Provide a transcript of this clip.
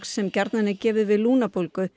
sem gjarnan er gefið við